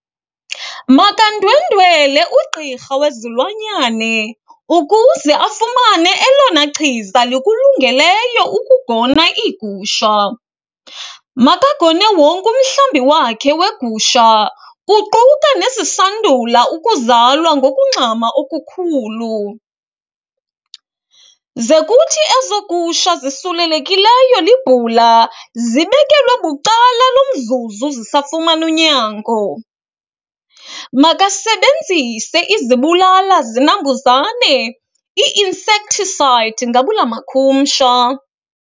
Makandwendwele ugqirha wezilwanyane ukuze afumane elona chiza likulungeleyo ukugona iigusha. Makagone wonke umhlambi wakhe weegusha kuquka nezisandula ukuzalwa ngokungxama okukhulu. Ze kuthi ezo gusha zisulelekileyo libhula, zibekelwe bucala lo mzuzu zisafumana unyango. Makasebenzise izibulalazinambuzane, ii-insecticide ngabula makhumsha.